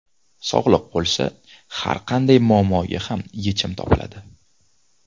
Sog‘liq bo‘lsa, har qanday muammoga ham yechim topiladi.